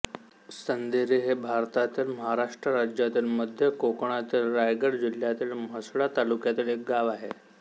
सांदेरी हे भारतातील महाराष्ट्र राज्यातील मध्य कोकणातील रायगड जिल्ह्यातील म्हसळा तालुक्यातील एक गाव आहे